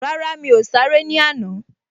Rárá, mi ò sáré ní àná